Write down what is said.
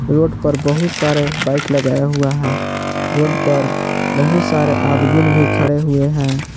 Road पर बहुत सारे बाइक लगाया हुआ है रोड पर बहुत सारे आदमीन भी खड़े हुए हैं।